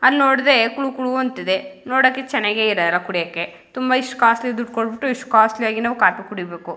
ಅಲ್ ನೋಡದೆ ಕುಲು ಕುಲು ಅಂಥದೇ ನೋಡೋಕೆ ಚೆನ್ನಾಗೆ ಇದೆ ಕುಡಿಯೋಕೆ ತುಂಬಾ ಈಸ್ಟ್ ಕಾಸ್ಟ್ಲಿ ದುಡ್ ಕೊಟ್ಟು ಈಸ್ಟ್ ಕಾಸ್ಟ್ಲಿ ಆಗಿ ನಾವ್ ಕಾಫಿ ಕುಡಿಬೇಕು.